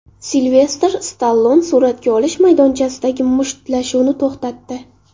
Silvestr Stallone suratga olish maydonchasidagi mushtlashuvni to‘xtatdi.